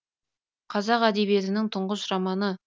қазақ әдебиетінің тұңғыш романы